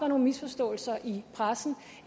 nogle misforståelser i pressen